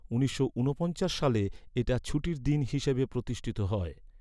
উনিশশো ঊনপঞ্চাশ সালে এটা ছুটির দিন হিসাবে প্রতিষ্ঠিত হয়।